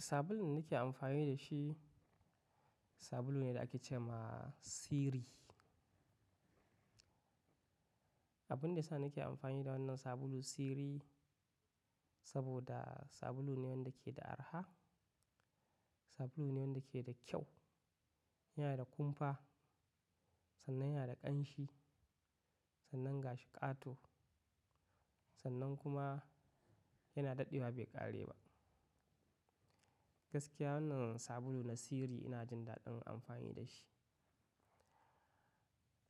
Sabulun da nake amfani da shi, sabulu ne da ake ce ma Siri. Abun da ya sa nake amfani da wannan sabulu Siri saboda sabulu ne wanda ke da araha, sabulu ne wanda ke da kyau. Yana da kumfa, sannan yana da ƙanshi, sannan gashi ƙato, sannan kuma yana daɗewa bai ƙare ba. Gaskiya wannan sabuluna Siri ina jin daɗin amfani da shi.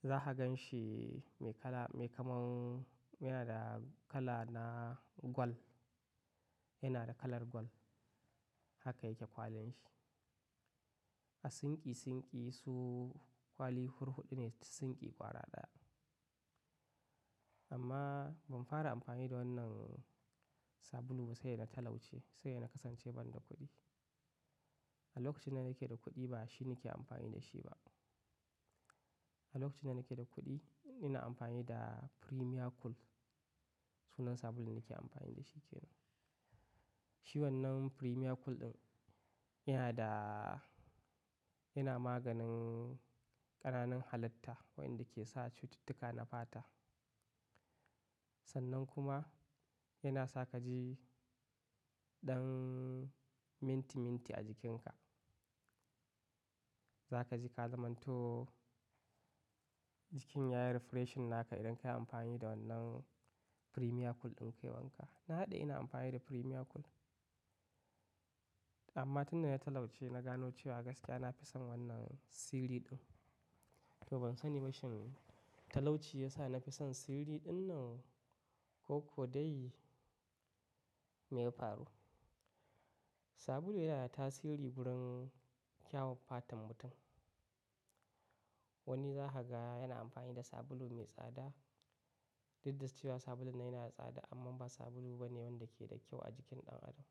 Za ka gan shi mai kala-- mai kaman yana da kala na gwal, yana da kalar gwal. Haka yake kwalin shi. A sinki sinki su kwali hurhuɗu ne su sinki ƙwara ɗaya. Amma ban fara amfani da wannan sabulu ba sai da na talauce, sai ina kasance ban da kuɗi. A lokacin da nake da kuɗi ba shi nake amfani da shi ba. A lokacin da nake da kuɗi ina amfani da Premia Cool sunan sabulun da nake amfani da shi ke nan. Shi wannan Premia Cool ɗin yana da-- yana maganin ƙananan halitta waɗanda ke sa cututtuka na fata. Sannan kuma yana sa ka ji ɗan minti minti a jikinka. Za ka ji ka zamanto jikin yayi refreshing naka idan ka yi amfani da wannan Premia Cool ɗin kai wanka. Na daɗe ina amfani da Premia Cool. Amma tun da na talauce na gano cewa gaskiya na fi son wannan Siri ɗin. To ban sani ba shin talauci ya sa na fi son Siri ɗin nan ko ko dai me ya faru. Sabulu yana da tasiri wurin kyawan fatan mutum. Wani za ka ga yana amfani da sabulu mai tsada. Duk da su cewa sabulun yana da tsada amma ba sabulu ba ne wanda ke da kyau a jikin ɗan adam.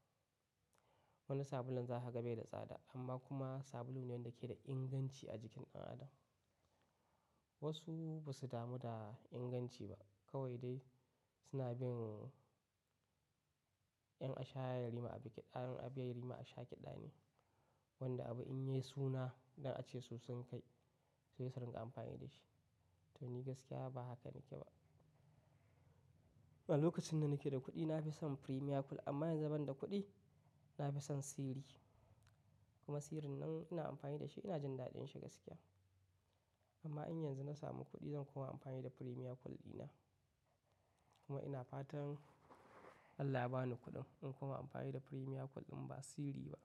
Wani sabulun za ka ga bai da tsada amma kuma sabulu ne wanda ke da inganci a jikin ɗan adam. Wasu ba su damu da inganci ba kawai dai suna bin ƴan asha yarima a bi ƙiɗa, ƴan abi yarima a sha ƙiɗa ne. Wanda abu in yi suna idan ace su sun kai, su yi sararinƙa amfani da shi. To ni gaskiya ba haka nake ba. A lokacin da nake da kuɗi na fi son Premia Cool amma in zaban da kuɗi na fi son Siri. Kuma Siri nan ina amfani da shi ina jin daɗin shi gaskiya. Amma in yanzu na samu kuɗi zan koma amfani da Premia Cool ɗina. Kuma ina fatan Allah ya ba ni kuɗin in koma amfani da Premia Cool ɗin ba Siri ba.